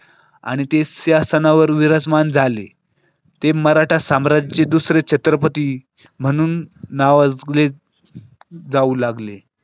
आणि तिसऱ्या स्थानावर विराजमान झाले. ते मराठा साम्राज्याचे दुसरे छत्रपती म्हणून नावाजले. जाऊ लागले